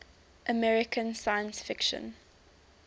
american science fiction